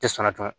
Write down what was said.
Tɛ sɔnna dun